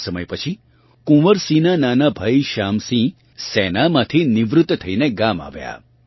થોડાંક સમય પછી કુંવર સિંહનાં નાનાં ભાઇ શ્યામ સિંહ સેનામાંથી નિવૃત થઇને ગામ આવ્યા